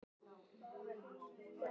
Végeir, spilaðu lagið „Hótel Borg“.